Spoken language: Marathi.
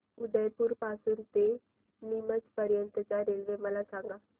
उदयपुर पासून ते नीमच पर्यंत च्या रेल्वे मला सांगा